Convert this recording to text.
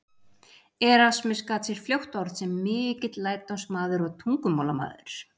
Erasmus gat sér fljótt orð sem mikill lærdómsmaður og tungumálamaður.